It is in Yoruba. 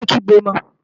Yé é kígbe mọ!